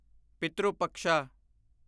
Pitru Paksha